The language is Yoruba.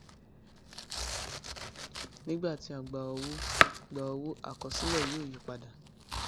nígbà tí a gba owó gba owó àkosílẹ yóò yí padà